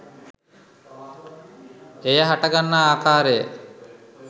එය හටගන්නා ආකාරය